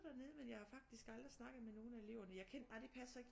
Dernede men jeg har faktisk aldrig snakket med nogle af eleverne jeg kendte ej det passer